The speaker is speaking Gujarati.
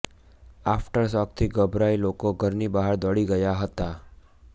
આફટર શોકથી ગભરાઈ લોકો ઘરની બહાર દોડી ગયા હતા